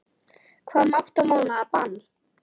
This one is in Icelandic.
Hvað um átta mánaða bann?